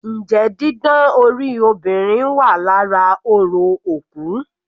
Njẹ́ didán orí obìnrin wà lára orò òkú?